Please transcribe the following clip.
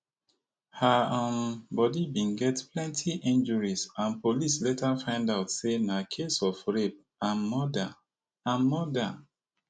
her um body bin get plenti injuries and police later find out say na case of rape and murder and murder